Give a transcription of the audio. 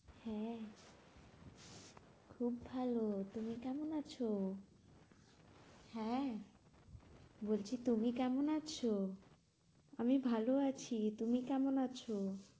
হ্যাঁ খুব ভালো তুমি কেমন আছো? হ্যাঁ বলছি তুমি কেমন আছো? আমি ভালো আছি তুমি কেমন আছো?